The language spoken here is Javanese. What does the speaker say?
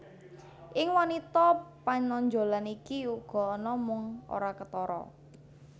Ing wanita panonjolan iki uga ana mung ora ketara